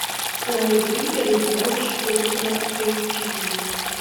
найди реванш ультра эйч ди